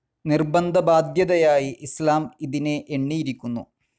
നിർബന്ധ ബാദ്ധ്യതയായി ഇസ്ലാം ഇതിനെ എണ്ണിയിരിക്കുന്നു.